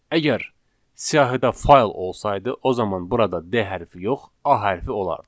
Əgər siyahıda fayl olsaydı, o zaman burada D hərfi yox, A hərfi olardı.